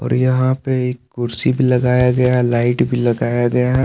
यहां पे एक कुर्सी भी लगाया है गया लाइट भी लगाया गया--